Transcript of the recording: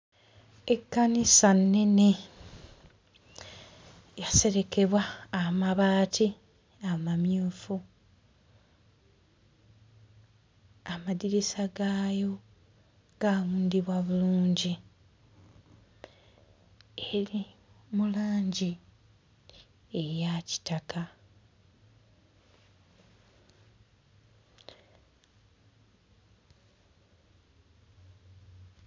Ekkanisa nnene, yaserekebwa amabaati amamyufu, amadirisa gaayo gaawundibwa bulungi eri mu langi eya kitaka.